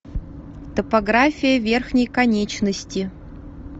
топография верхней конечности